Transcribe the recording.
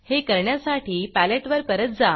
हे करण्यासाठी Paletteपॅलेट वर परत जा